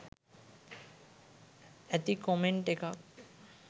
ඇති කොමෙන්ට් එකක්.